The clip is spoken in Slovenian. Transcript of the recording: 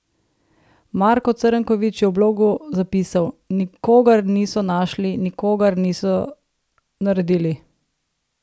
Marko Crnković je v blogu zapisal:"Nikogar niso našli, nikogar niso naredili.